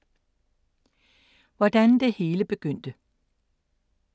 Hvordan det hele begyndte